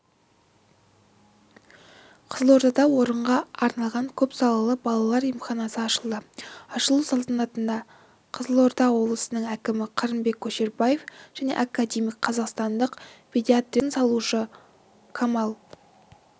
қызылордада орынға арналған көпсалалы балалар емханасы ашылды ашылу салтанатына қызылорда облысының әкімі қырымбек көшербаев және академик қазақстандық педиатрияның негізін салушы камал